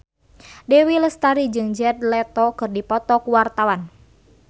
Dewi Lestari jeung Jared Leto keur dipoto ku wartawan